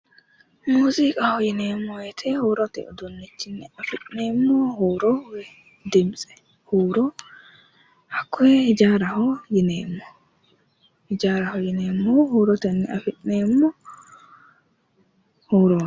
muziiqaho yineemmo woyte huurote uduunnichinni afi'neemmo huuro dimtse huuro dimtse hakkoye hijaaraho yineemmo hijaaraho yineemmohu huurotenni afi'neemmo hurooti.